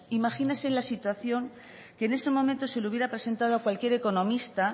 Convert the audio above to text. imagínese la situación que en ese momento se le hubiera presentado a cualquier economista